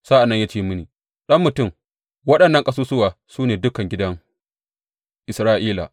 Sa’an nan ya ce mini, Ɗan mutum, waɗannan ƙasusuwa su ne dukan gidan Isra’ila.